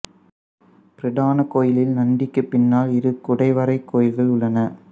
பிரதானக் கோயிலில் நந்திக்குப் பின்னால் இரு குடைவரை கோயில்கள் உள்ளன